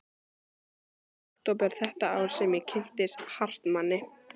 Það var í október þetta ár sem ég kynntist Hartmanni.